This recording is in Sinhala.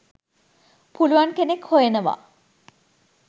පුළුවන් කෙනෙක් හොයනවා.